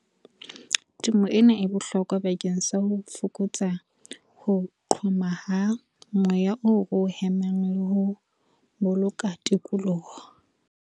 Temo ena e bohlokwa bakeng sa ho fokotsa ho qhoma ha moya oo ro hemang le ho boloka tikoloho.